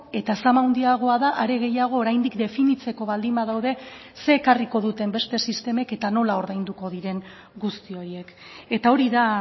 eta zama handiagoa da are gehiago oraindik definitzeko baldin badaude zer ekarriko duten beste sistemek eta nola ordainduko diren guzti horiek eta hori da